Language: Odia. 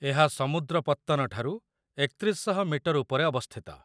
ଏହା ସମୁଦ୍ର ପତ୍ତନ ଠାରୁ ୩୧୦୦ ମିଟର ଉପରେ ଅବସ୍ଥିତ |